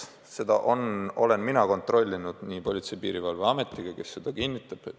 Ma olen seda kontrollinud ja selle kohta küsinud ka Politsei- ja Piirivalveametist, kes seda kinnitab.